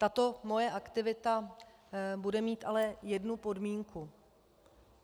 Tato moje aktivita bude mít ale jednu podmínku.